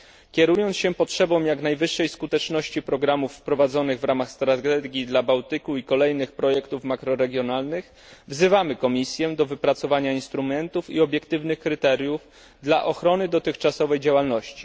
Kierując się potrzebą jak najwyższej skuteczności programów prowadzonych w ramach strategii dla Bałtyku i kolejnych projektów makroregionalnych, wzywamy Komisję do wypracowania instrumentów i obiektywnych kryteriów dla ochrony dotychczasowej działalności.